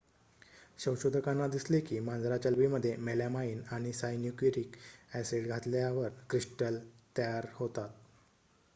संशोधकांना दिसले की मांजराच्या लघवीमध्ये मेलॅमाइन आणि सायन्यूरिक ॲसिड घातल्यावर क्रिस्टल तयार होतात